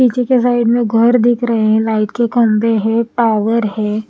पीछे के साइड में घर दिख रहे है लाइट के खंबे है पॉवर हैं।